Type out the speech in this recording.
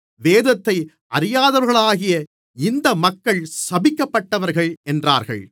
வேதத்தை அறியாதவர்களாகிய இந்த மக்கள் சபிக்கப்பட்டவர்கள் என்றார்கள்